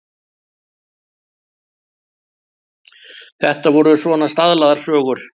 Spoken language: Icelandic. Þetta voru svona staðlaðar sögur.